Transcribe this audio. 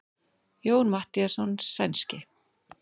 Jón Matthíasson sænski.